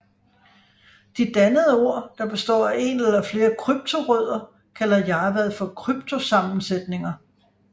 De dannede ord der består ef en eller flere kryptorødder kalder Jarvad for kryptosammensætninger